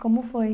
Como foi?